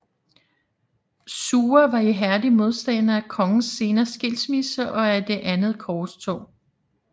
Suger var ihærdig modstander af kongens senere skilsmisse og af det det andet korstog